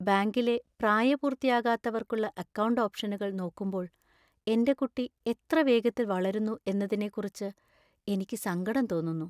ബാങ്കിലെ പ്രായപൂർത്തിയാകാത്തവർക്കുള്ള അക്കൗണ്ട് ഓപ്‌ഷനുകൾ നോക്കുമ്പോൾ എന്‍റെ കുട്ടി എത്ര വേഗത്തിൽ വളരുന്നു എന്നതിനെക്കുറിച്ച് എനിക്ക് സങ്കടം തോന്നുന്നു.